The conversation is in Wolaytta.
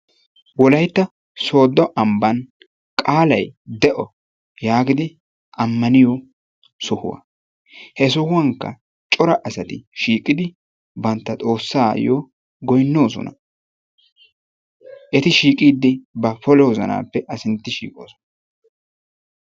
Wolaytta sooddo ambban qaalay de'o yaagidi ammaniyoo sohuwaa. He sohuwaanikka cora asati shiiqqidi bantta xoossaayoo goynnoosona. Eti shiiqqidi ba poolo wozanaappe a sintti shiiqoosona.